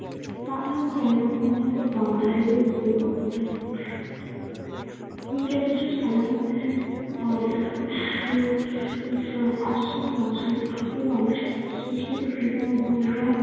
তার মধ্যে অন্যতম হলো বাঙালির এই দুর্গাপূজা। সাধারণ মাধ্যমে হয়। আশ্বিন মাসে এবং শেষের ভেতর দুবার